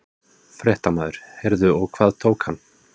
Fréttamaður: Heyrðu og hvað tók hann?